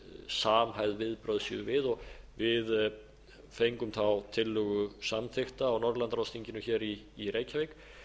samhæfð viðbrögð séu við við fengum þá tillögu samþykkta á norðurlandaráðsþinginu hér í reykjavík